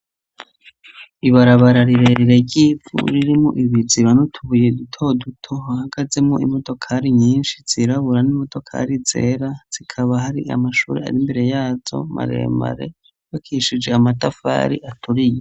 Ibarabara rirerire ry'ivu ririmwo ibiziba n'utubuye dutoduto, hahagazemwo imodokari nyinshi zirabura, n'imodokari zera, hakaba hari amashuri ari imbere yazo, maremare, yubakishije amatafari aturiye.